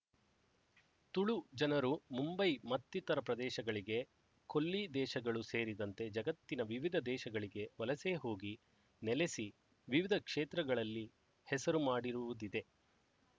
ತುಳು ಜನರು ಮುಂಬೈ ಮತ್ತಿತರ ಪ್ರದೇಶಗಳಿಗೆ ಕೊಲ್ಲಿ ದೇಶಗಳು ಸೇರಿದಂತೆ ಜಗತ್ತಿನ ವಿವಿಧ ದೇಶಗಳಿಗೆ ವಲಸೆ ಹೋಗಿ ನೆಲೆಸಿ ವಿವಿಧ ಕ್ಷೇತ್ರಗಳಲ್ಲಿ ಹೆಸರು ಮಾಡಿರುವುದಿದೆ